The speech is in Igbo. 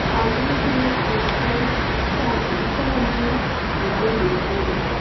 Anaghị m ekwe ka nke a mee ka obi daa m.